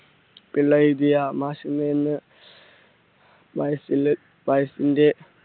പിള്ള എഴുതിയ